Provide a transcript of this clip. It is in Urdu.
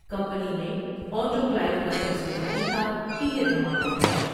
کمپنی میں آٹو کلائیو کاٹسٹ جاری تھا کہ یہ دھماکہ ہوا ۔